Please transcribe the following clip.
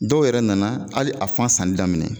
Dɔw yɛrɛ nana hali a fan sanni daminɛ